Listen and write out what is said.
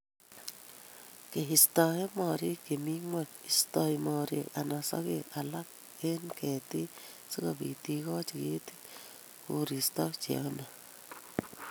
keistoe mooriik che mi ng'wony: isto mooriik anak sogeek alak eng' keetit, si kobiit igoochi keetit koristow che yamei.